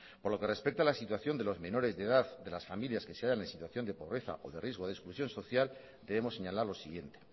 por lo que respecta a la situación de los menores de edad de las familias que se hallan en situación de pobreza o de riesgo de exclusión social debemos señalar lo siguiente